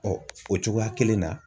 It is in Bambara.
Ɔ o cogoya kelen na.